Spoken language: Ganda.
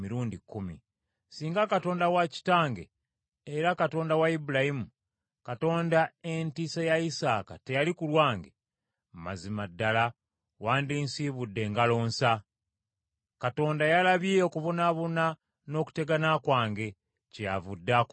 Singa Katonda wa kitange, era Katonda wa Ibulayimu, Katonda Entiisa ya Isaaka teyali ku lwange, mazima ddala wandinsiibudde ngalo nsa! Katonda yalabye okubonaabona n’okutegana kwange, kyeyavudde akunenya ekiro.”